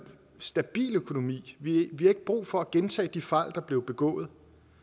stabil økonomi vi har ikke brug for at gentage de fejl der blev begået